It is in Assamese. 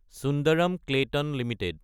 Sundaram Clayton Ltd